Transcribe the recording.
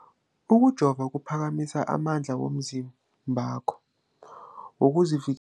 Ukujova kuphakamisa amandla womzimbakho wokuzivik